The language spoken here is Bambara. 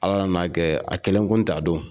Ala nan'a kɛ a kelen kun t'a dɔn.